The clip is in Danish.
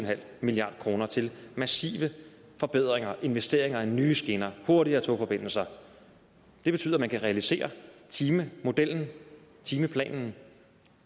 milliard kroner til massive forbedringer investeringer i nye skinner hurtigere togforbindelser det betyder at man kan realisere timemodellen timeplanen